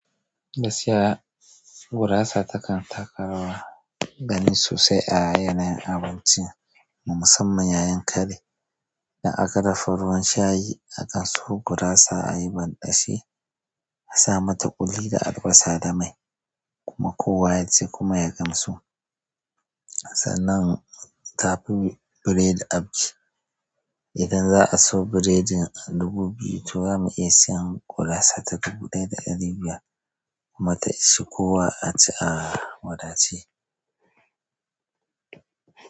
Gasiya gurasa takan taka rawa gani sosai a yanayin abinci, musamman yayin kare. Da aka dafa ruwan shayi, akan so gurasa a yi banɗashi, a sa mata ƙuli da albasa da mai, kuma kowa ya ci kuma ya gamsu. Sannan ta fi biredi auki. Idan za a siyo biredin a dubu biyu, to za mu iya siyan gurasa ta dubu ɗaya da ɗari biyar kuma ta ishe kowa a ci a wadace.